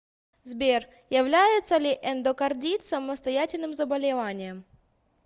сбер является ли эндокардит самостоятельным заболеванием